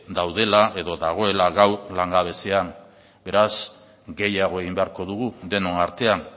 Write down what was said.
daudela edo dagoela gaur langabezian beraz gehiago egin beharko dugu denon artean